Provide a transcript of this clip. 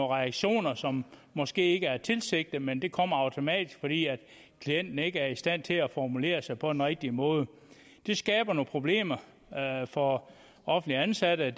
reaktioner som måske ikke er tilsigtet men som kommer automatisk fordi klienten ikke er i stand til at formulere sig på den rigtige måde det skaber nogle problemer for offentligt ansatte